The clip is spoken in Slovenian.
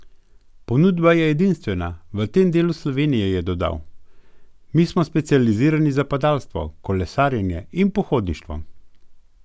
Ponudba je edinstvena v tem delu Slovenije, je dodal: 'Mi smo specializirani za padalstvo, kolesarjenje in pohodništvo.